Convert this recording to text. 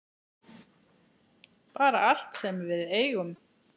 Bara allt sem við eigum.